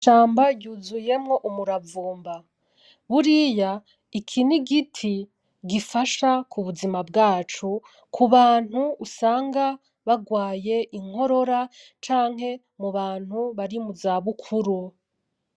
Ishamba ryuzuyemwo umuravumba, buriya iki n'igiti gifasha ku buzima bwacu, ku bantu usanga bagwaye inkorora canke mubantu baba bari muza bukuru.